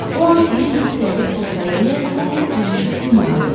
O an iri cüssəli Foscarelli sanki büzüşüb yumağa döndü.